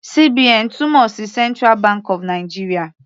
CBN túmọ̀ sí central bank of Nigeria.